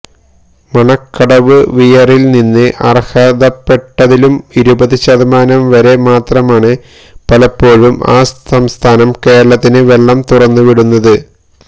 മണക്കടവ് വിയറില് നിന്ന് അര്ഹതപ്പെട്ടതിലും ഇരുപത് ശതമാനം വരെ മാത്രമാണ് പലപ്പോഴും ആ സംസ്ഥാനം കേരളത്തിന് വെള്ളം തുറന്നു വിടുന്നത്